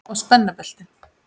Og spenna beltin.